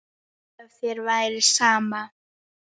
Ef þér væri sama.